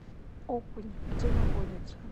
окунь где находится